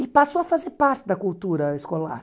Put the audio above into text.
E passou a fazer parte da cultura escolar.